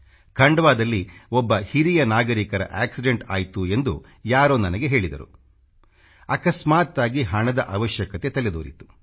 ಖಂಡವಾ ದಲ್ಲಿ ಒಬ್ಬ ಹಿರಿಯ ನಾಗರಿಕರ ಆಕ್ಸಿಡೆಂಟ್ ಆಯ್ತು ಎಂದು ಯಾರೋ ನನಗೆ ಹೇಳಿದರು ಅಕಸ್ಮಾತ್ತಾಗಿ ಹಣದ ಅವಶ್ಯಕತೆ ತಲೆದೋರಿತು